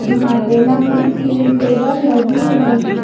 जहां पे लंबी सी टेबल लगी है।